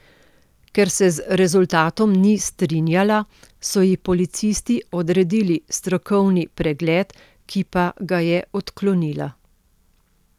Ker se z rezultatom ni strinjala, so ji policisti odredili strokovni pregled, ki pa ga je odklonila.